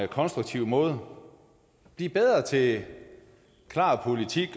konstruktiv måde blive bedre til klar politik